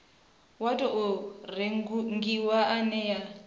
wa tou rengiwa ine ya